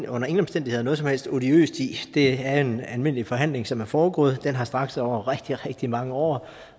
under ingen omstændigheder noget som helst odiøst i det er en almindelig forhandling som er foregået den har strakt sig over rigtig rigtig mange år